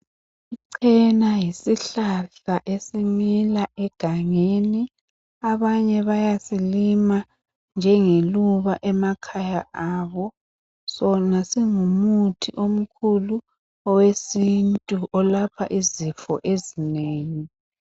Icena yisihlahla esimila egangeni, abanye bayasilima njengeluba emakhaya abo. Sona singumuthi omkhulu owesintu olapha izifo ezinengi.